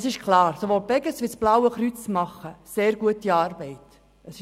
Es ist klar, dass sowohl die Beges als auch das Blaue Kreuz sehr gute Arbeit leisten.